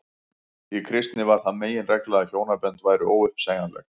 í kristni varð það meginregla að hjónabönd væru óuppsegjanleg